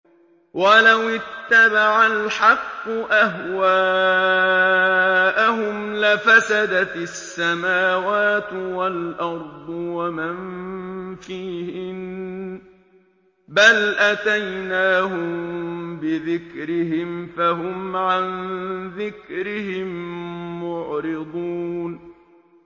وَلَوِ اتَّبَعَ الْحَقُّ أَهْوَاءَهُمْ لَفَسَدَتِ السَّمَاوَاتُ وَالْأَرْضُ وَمَن فِيهِنَّ ۚ بَلْ أَتَيْنَاهُم بِذِكْرِهِمْ فَهُمْ عَن ذِكْرِهِم مُّعْرِضُونَ